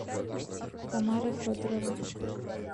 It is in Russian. тамара федорова